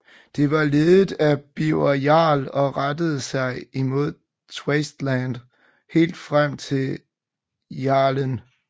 Det var ledet af Birger Jarl og rettede sig imod Tavastland helt frem til Karelen